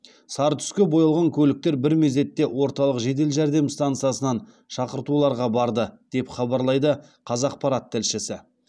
сары түске боялған көліктер бір мезетте орталық жедел жәрдем стансасынан шақыртуларға барды деп хабарлайды қазақпарат тілшісі